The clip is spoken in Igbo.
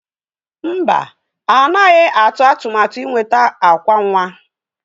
Mba, anaghị atụ atụmatụ ịnweta akwa nwa.